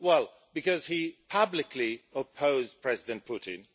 Well because he publicly opposed President Putin.